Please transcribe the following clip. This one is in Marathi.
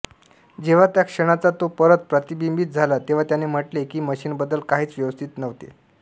जेव्हा त्या क्षणाचा तो परत प्रतिबिंबित झाला तेव्हा त्याने म्हटले की मशीनबद्दल काहीच व्यवस्थित नव्हते